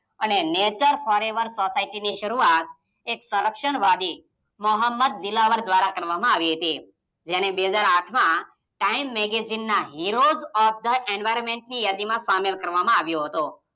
Nature forever સોસાયટીની શરૂઆત એક સરક્ષણવાદી મોહમ્મદ દિલાવર દ્વારા કરવામાં આવી હતી, જેને બે હાજર આઠમાં ટાઈમ મેગેજીનના હીરોઝ ઓફ થઈ એન્વીયોર્મેન્ટની યાદીમાં સામેલ કરવામાં આવ્યો હતો.